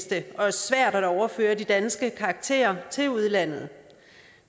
det er svært at overføre de danske karakterer til udlandet